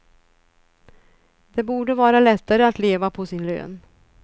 Det borde vara lättare att leva på sin lön.